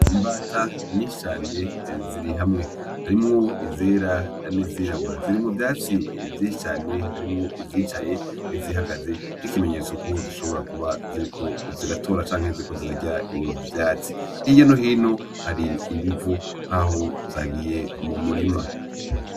Imbata nyinshi cane ziri hamwe, harimwo izera hari n'izirabura, ziri mu vyatsi vyinshi cane harimwo izicaye izihagaze n'ikimenyetso ko zishobora kuba ziriko ziratora canke ziriko zirarya ivyatsi, hirya no hino hari ibivu nkaho zagiye mu murima.